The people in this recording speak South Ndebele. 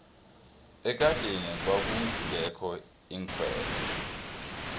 ekadeni kwakungekho iinkhwelo